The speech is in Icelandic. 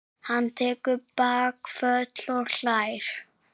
Hann tekur bakföll og hlær.